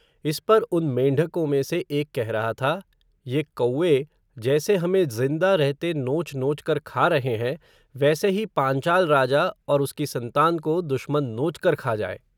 इस पर उन मेंढ़को में से एक कह रहा था, ये कौए, जैसे हमें ज़िंदा रहते नोच नोच कर खा रहे हैं, वैसे ही पांचाल राजा, और उसकी संतान को, दुश्मन नोचकर खा जाये